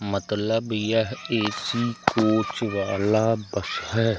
मतलब यह AC coach वाला बस है।